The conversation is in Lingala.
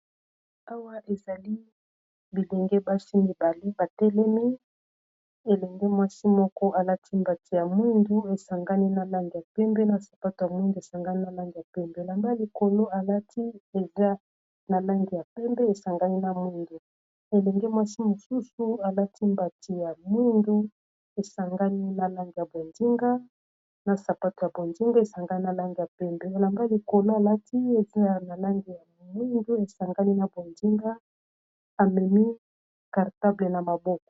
awa ezali bilenge basi mibale batelemi elenge mwasi moko alati mbati ya mwindu esangani na lange ya pembe na sapato ya mwindu esangani na lange ya pembe elamba likolo alati eza na lange ya pembe esangani na moindu elenge mwasi mosusu alati mbati ya moindu esangani na langi ya bozinga na sapato ya bozinga esangani na lange ya pembe elamba likolo alati eza na langi ya moindu esangani na bondinga amemi cartable na maboko